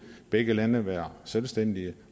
begge lande være selvstændige